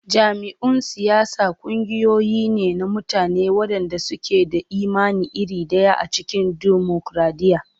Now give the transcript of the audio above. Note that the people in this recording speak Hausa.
Jam'iyyun siyasa ƙungiyoyi ne na mutane waɗanda suke da imani iri ɗaya a cikin dimokuradiyya.